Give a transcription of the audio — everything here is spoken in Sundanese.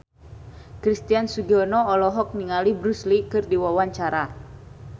Christian Sugiono olohok ningali Bruce Lee keur diwawancara